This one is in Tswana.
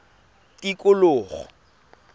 tikologo